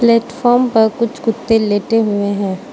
Platform पर कुछ कुत्ते लेटे हुए हैं।